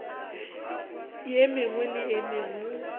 ye mengwe le ye mengwe